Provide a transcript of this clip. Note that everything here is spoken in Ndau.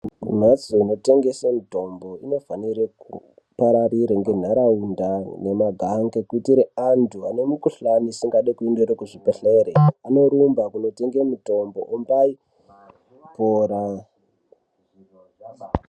Mimhatso inotengese mitombo inofanire kuparaira ngentaraunda nemagange. Kuitire antu ane mukuhlani isingadi kuendere kuzvibhedhlere anorumba kunotenge mutombo ombai kupora.